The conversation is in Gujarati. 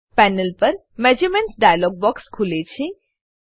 પેનલ પર મેઝરમેન્ટ્સ ડાયલોગ બોક્સ ખુલે છે